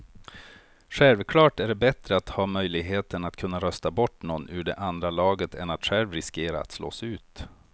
Självklart är det bättre att ha möjligheten att kunna rösta bort någon ur det andra laget än att själv riskera att slås ut.